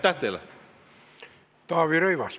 Taavi Rõivas, palun!